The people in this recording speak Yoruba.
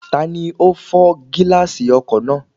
Tani ó fọ́ gíláàsì ọkọ̀ náà?